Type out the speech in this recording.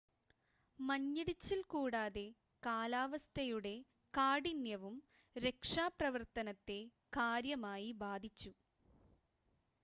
മഞ്ഞിടിച്ചിൽ കൂടാതെ കാലാവസ്ഥയുടെ കാഠിന്യവും രക്ഷാപ്രവർത്തനത്തെ കാര്യമായി ബാധിച്ചു